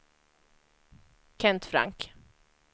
Kent Frank